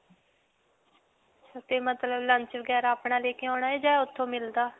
ਤੇ ਮਤਲਬ lunch ਵਗੈਰਾ ਅਪਣਾ ਲੈ ਕੇ ਆਉਣਾ ਹੈ ਜਾਂ ਓਥੋਂ ਮਿਲਦਾ?